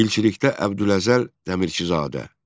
Dilçilikdə Əbdüləzəl Dəmirçizadə.